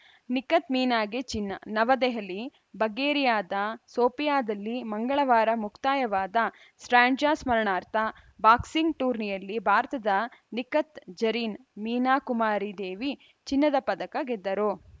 ನಿಖತ್‌ ಮೀನಾಗೆ ಚಿನ್ನ ನವದೆಹಲಿ ಬಗ್ಗೇರಿಯಾದ ಸೋಫಿಯಾದಲ್ಲಿ ಮಂಗಳವಾರ ಮುಕ್ತಾಯವಾದ ಸ್ಟ್ರ್ಯಾಂಡ್ಜಾ ಸ್ಮರಣಾರ್ಥ ಬಾಕ್ಸಿಂಗ್‌ ಟೂರ್ನಿಯಲ್ಲಿ ಭಾರತದ ನಿಖತ್‌ ಜರೀನ್‌ ಮೀನಾ ಕುಮಾರಿ ದೇವಿ ಚಿನ್ನದ ಪದಕ ಗೆದ್ದರು